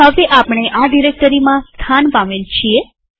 તો હવે આપણે આ ડિરેક્ટરીમાં સ્થાન પામેલ છીએ